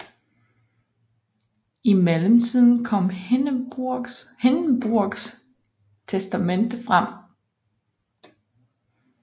I mellemtiden kom Hindenburgs testamente frem